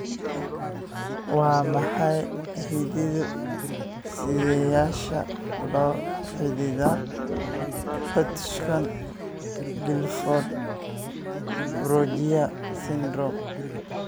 Waa maxay hidde-sideyaasha la xidhiidha Hutchinson Gilford progeria syndrome?